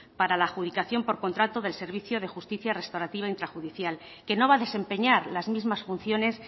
para la adjudicación por contrato del servicio de justicia restaurativa intrajudicial que no va a desempeñar las mismas funciones